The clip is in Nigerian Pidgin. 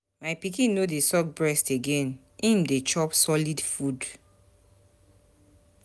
My pikin no dey suck breast again, im don dey chop solid food.